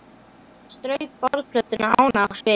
Mamma strauk borðplötuna ánægð á svip.